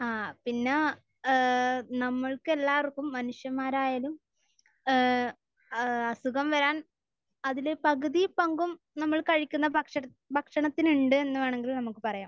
ആഹ്. പിന്നെ ഏഹ് നമ്മൾക്കെല്ലാവർക്കും മനുഷ്യന്മാരായാലും ഏഹ് ഏഹ് അസുഖം വരാൻ അതിൽ പകുതി പങ്കും നമ്മൾ കഴിക്കുന്ന ഭക്ഷണത്തി, ഭക്ഷണത്തിനുണ്ട് എന്ന് വേണമെങ്കിൽ നമുക്ക് പറയാം.